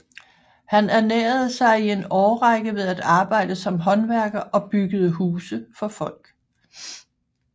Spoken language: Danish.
Han ernærede sig i en årrække ved at arbejde som håndværker og byggede huse for folk